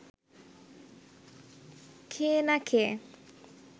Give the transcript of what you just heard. খেয়ে না খেয়ে